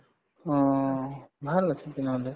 অ,